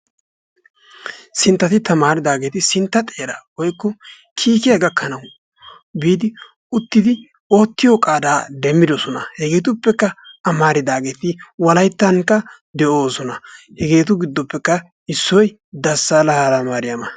Sinttati tamaaridaageeti sintta xeeraa woykko kiikiya gakkidi oottiyo qaadaa demmidosona. Hegeetuppekka amaridaageeti Wolayttankka de'oosona. Hegeetu giddoppekka issoy Dassaala Hayilamaariyama.